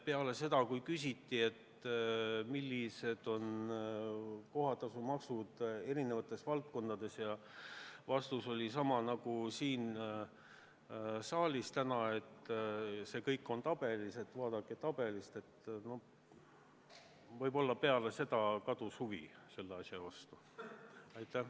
Kui küsiti, millised on kohatasud eri omavalitsustes, ja vastus oli sama nagu täna siin saalis, et see kõik on tabelis kirjas ja vaadake tabelist, siis komisjoni liikmete huvi selle vastu kadus.